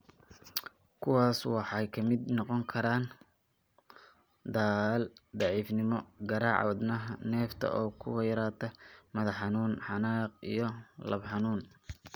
Kuwaas waxaa ka mid noqon kara daal, daciifnimo, garaaca wadnaha, neefta oo ku yaraata, madax-xanuun, xanaaq, iyo laab xanuun.